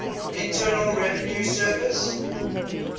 internal revenue service